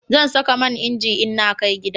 Zan saka man inji in na kai gida